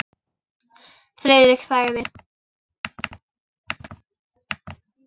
Friðrik þagði.